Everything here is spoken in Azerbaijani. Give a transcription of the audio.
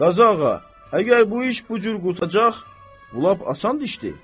Qazı ağa, əgər bu iş bu cür qurtaracaq, lap asan işdir.